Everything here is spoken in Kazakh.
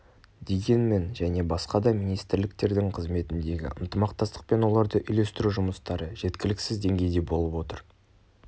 дегенмен және басқа да министрліктердің қызметіндегі ынтымақтастық пен оларды үйлестіру жұмыстары жеткіліксіз деңгейде болып отыр